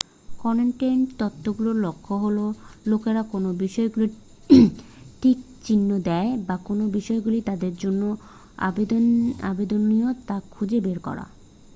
content তত্ত্বগুলোর লক্ষ্য হলো লোকেরা কোন বিষয়গুলোতে টিক চিহ্ন দেয় বা কোন বিষয়গুলো তাদের জন্য আবেদনীয় তা খুঁজে বের করা